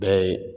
Bɛɛ ye